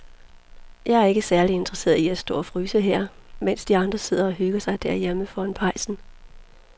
Jeg er ikke særlig interesseret i at stå og fryse her, mens de andre sidder og hygger sig derhjemme foran pejsen.